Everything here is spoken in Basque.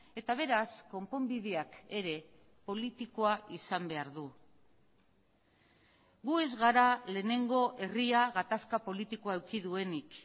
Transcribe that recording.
eta beraz konponbideak ere politikoa izan behar du gu ez gara lehenengo herria gatazka politikoa eduki duenik